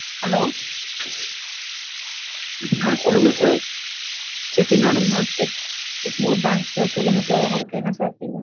Hello ஆஹ் சொல்லுங்க sir Chettinad mess Egmore branch sir சொல்லுங்க sir உங்களுக்கு என்ன sir வேணும்?